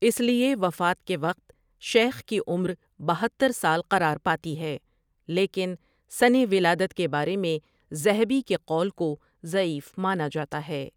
اس لیے وفات کے وقت شیخ کی عمر بہتر سال قرار پاتی ہے، لیکن سنِ ولادت کے بارے میں ذہبی کے قول کو ضعیف مانا جاتا ہے ۔